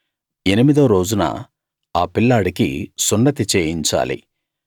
ఎనిమిదో రోజున ఆ పిల్లాడికి సున్నతి చేయించాలి